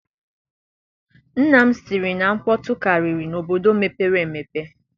Nna m sị na nkpọtụ karịrị n'obodo mepere emepe.